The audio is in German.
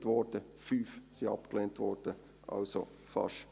7 wurden bewilligt, und 5 wurden abgelehnt.